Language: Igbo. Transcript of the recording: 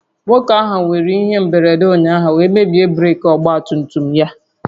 Nwoke ahụ nwéré ihe mberede ụnyaahụ wee mebie breeki ọgba tum tum ya